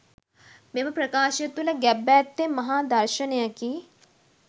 මෙම ප්‍රකාශය තුළ ගැබ්ව ඇත්තේ මහා දර්ශනයකි.